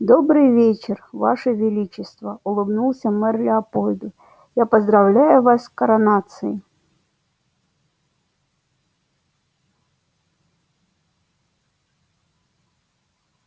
добрый вечер ваше величество улыбнулся мэр леопольду я поздравляю вас с коронацией